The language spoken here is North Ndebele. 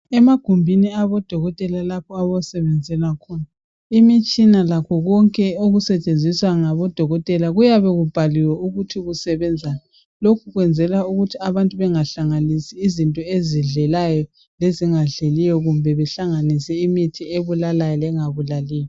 Emagumbini abodokotela lapho abasebenzela khona imitshina lakho konke okusetshenziswa ngabo dokotela kuyabe kubhaliwe ukuthi kusebenzani kuyabe kubhaliwe ukuthi abantu bengahlanganisi izinto ezidlelayo lezingadleliyo kumbe behlanganise imithi ebulalayo lengabulaliyo.